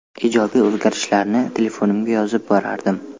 Ijobiy o‘zgarishlarni telefonimga yozib borardim.